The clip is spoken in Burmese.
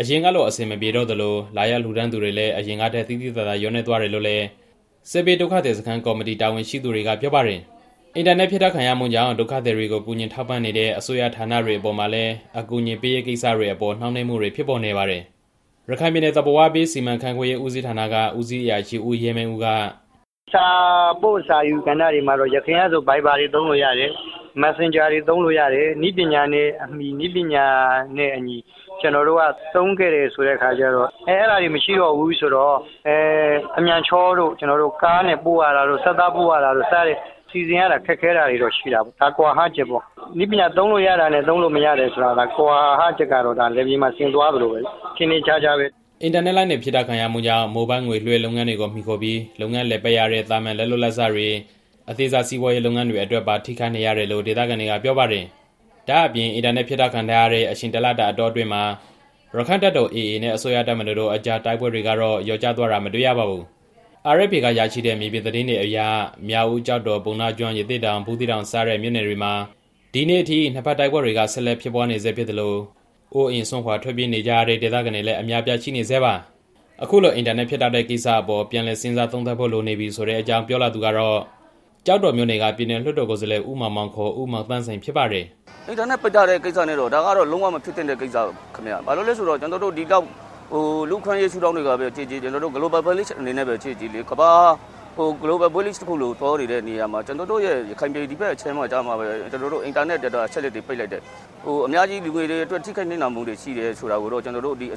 အရင်ကလို အဆင်မပြေတော့သလို လာရောက်လှူဒါန်းသူတွေလည်း အရင်ကထက် သိသိသာသာ လျော့နည်းသွားတယ်လို့လည်း စစ်ဘေးဒုက္ခသည်စခန်း ကော်မတီတာဝန်ရှိသူတွေက ပြောပါတယ်။ အင်တာနက် ဖြတ်တောက်ခံရမှုကြောင့် ဒုက္ခသည်တွေကို ကူညီထောက်ပံ့နေတဲ့ အစိုးရဌာနတွေအပေါ်မှာလည်း အကူအညီပေးရေးကိစ္စတွေအပေါ် နှောင့်နှေးမှုတွေဖြစ်ပေါ်နေပါတယ်။ ရခိုင်ပြည်နယ် သဘာဝပေးစီမံခန့်ခွဲရေးဦးစီးဌာနက ဦးစီးအရာရှိ ဦးရဲမင်းဦးက - "စာပို့စာယူကဏ္ဍတွေမှာတော့ ယခင်ကဆိုရင် Viber သုံးလို့ရတယ်။ Messenger နဲ့သုံးလို့ရတယ်။ နည်းပညာနဲ့အမှီ ကျွန်တော်တို့က သုံးခဲ့တယ်ဆိုတော့ အခုက အဲဒါတွေမရှိတော့ဘူးဆိုတော့ အမြန်ချောတို့၊ ကားနဲ့ပို့ရတာတို့၊ ဆသပို့ရတာတို့ စတာတွေ စီစဉ်ရတာတွေတော့ ခက်ခဲတာတွေတော့ ရှိတာပေါ့။ ဒါတွေက ကွာဟချက်ပေါ့။ နည်းပညာ သုံးလို့ရတယ်ဆိုတာနဲ့ သုံးလို့မရတာ ကွာဟချက် ကတော့ လယ်ပြင်မှာဆင်သွားသလို ထင်ထင်ရှားရှားပဲ" အင်တာနက် ဖြတ်တောက်ခံရမှုကြောင့် မိုဘိုင်းငွေလွှဲလုပ်ငန်းတွေကို မှီခိုပြီး လုပ်ငန်းလည်ပတ်နေရတဲ့ သာမန် လက်လုပ်လက်စားတွေ၊ ရပ်ဝေးကိုသွားရောက်ပြီး အလုပ်လုပ်ကိုင်နေသူတွေအပြင် အသေးစား စီးပွားရေးလုပ်ငန်းတွေအတွက်ပါ ထိခိုက်နေရတယ်လို့ ဒေသခံတွေက ပြောပါတယ်။ ဒါ့အပြင် အင်တာနက်ဖြတ်တောက်ခံရတဲ့ အချိန်တစ်လတာ အတောအတွင်းမှာ ရက္ခိုင့်တပ်တော် နဲ့ အစိုးရတပ်မတော်တို့အကြား တိုက်ပွဲတွေကတော့ လျော့ကျသွားတာ မတွေ့ရပါဘူး။ RFA က ရရှိတဲ့ မြေပြင်သတင်းတွေအရ မြောက်ဦး၊ ကျောက်တော်၊ ပုဏ္ဏားကျွန်း၊ ရသေ့တောင်၊ ဘူးသီးတောင် စတဲ့မြို့နယ်တွေမှာ ဒီနေ့အထိ နှစ်ဘက်တိုက်ပွဲတွေက ဆက်ဖြစ်နေဆဲဖြစ်သလို အိုးအိမ်စွန့်ခွာ ထွက်ပြေးနေကြရတဲ့ ဒေသခံတွေလည်း အများအပြားရှိနေဆဲပါ။ အခုလို အင်တာနက် ဖြတ်တောက်တဲ့ကိစ္စအပေါ် ပြန်လည်စဉ်းစားသုံးသပ်ဖို့ လိုနေပြီဆိုတဲ့အကြောင်း ပြောလာသူကတော့ ကျောက်တော်မြို့နယ်က ပြည်နယ်လွှတ်တော် ကိုယ်စားလှယ် ဦးမောင်မောင် ဦးမောင်သန်းစိန် ဖြစ်ပါတယ်။ "အင်တာနက်ပိတ်ထားတာက ဒါဟာ လုံးဝမဖြစ်သင့်တဲ့ကိစ္စပါ။ လူ့အခွင့်အရေး ရှုထောင့်ကပဲကြည့်ကြည့် ဂလိုဘယ်အနေနဲ့ပဲ ကြည့်ကြည့်ပေါ့။ ကမ္ဘာကြီးက ဂလိုဘယ်ရွာတစ်ခုအနေနဲ့ သွားနေရာမှာ ကျွန်တော်တို့ ရခိုင်ပြည် ဒီဘက်အခြမ်းတွေမှာကျမှပဲ အင်တာနက်လိုင်းတွေ ပိတ်လိုက်တယ်။ လူငယ်တွေအတွက် အများကြီး ထိခိုက်နစ်နာမှုတွေရှိတယ်ဆိုတာကိုတော့ အ